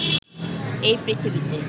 এই পৃথিবীতে